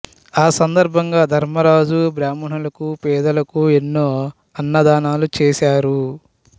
ఆ సందర్భంగా ధర్మరాజు బ్రాహ్మణులకు పేదలకు ఎన్నో అన్నదానాలు చేసారు